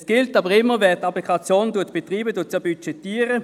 Es gilt aber immer, dass wer eine Applikation betreibt, diese auch budgetiert.